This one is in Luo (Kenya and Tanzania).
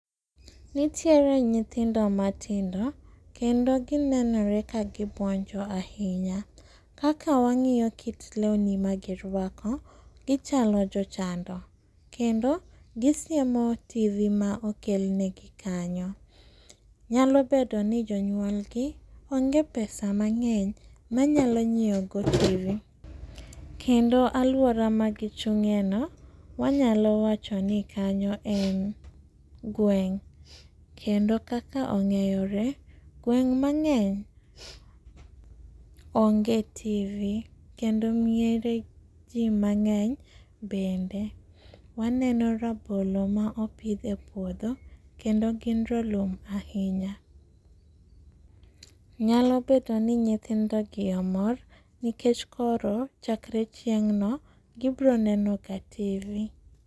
nitiere nyithindo matindo kendo ginenore ka giuonjo ahinya kaka wangiyo kit lewni magi ruako gichalo jo chando kendo gisiemo tv ma okel ne gi kanyo. Nyalo bedo ni jonyuol gi ong'e pesa mang'eny manyalo ngiewo go tv kendo aluora magi chunge no wanyalo wacho ni kanyo en gweng',kendo kaka ong'eyore gweng mang'eny ong'e tv kendo miere ji mang'eny ,bende waneno rabolo ma opidh e puodho kendo gin ralum ahinya ,nyalo bedo ni nyithindo gi omor nikech koro chakre chieng' no gibiro neno ga tv